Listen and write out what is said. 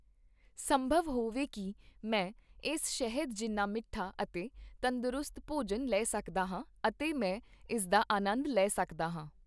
ਸੰਭਵ ਹੋਵੇ ਕੀ ਮੈਂ ਇਸ ਸ਼ਹਿਦ ਜਿੰਨਾ ਮਿੱਠਾ ਅਤੇ ਤੰਦਰੁਸਤ ਭੋਜਨ ਲੈ ਸਕਦਾ ਹਾਂ ਅਤੇ ਮੈਂ ਇਸਦਾ ਆਨੰਦ ਲੈ ਸਕਦਾ ਹਾਂ!